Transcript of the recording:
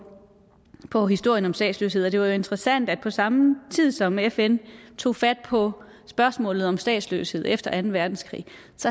på historien om statsløshed og det er interessant at på samme tid som fn tog fat på spørgsmålet om statsløshed efter anden verdenskrig